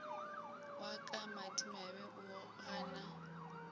wa ka madimabe o gana